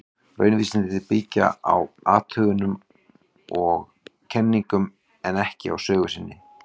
Raunvísindin byggja á athugunum og kenningum, en ekki á sögu sinni.